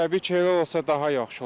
Təbii ki, elə olsa daha yaxşı olar.